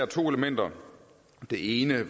to elementer det ene